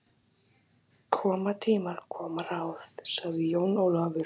Koma tímar, koma ráð, sagði Jón Ólafur.